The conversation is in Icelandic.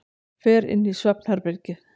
Fer inn í svefnherbergið.